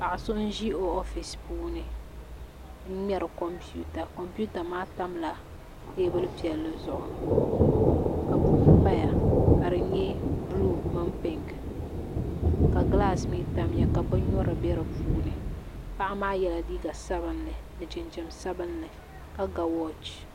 Paɣa so n ʒi o oofisi puuni n ŋmɛri kompiuta kompiuta maa tamla teebuli piɛlli zuɣu ka buku paya ka di nyɛ buluu mini pink ka gilaas mii tamya ka bin nyurili bɛ di puuni paɣa maa yɛla liiga sabinli ni jinjɛm sabinli ka ga wooch